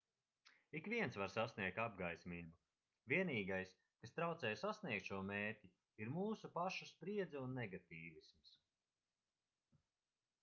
ikviens var sasniegt apgaismību vienīgais kas traucē sasniegt šo mērķi ir mūsu pašu spriedze un negatīvisms